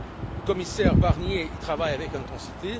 Le commissaire Barnier y travaille avec intensité.